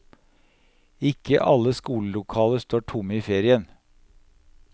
Ikke alle skolelokaler står tomme i ferien.